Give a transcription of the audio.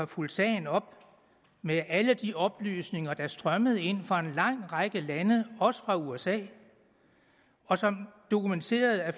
fulgt sagen op med alle de oplysninger der strømmede ind fra en lang række lande også fra usa og som dokumenterede at